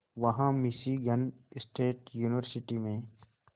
वहां Michigan State University में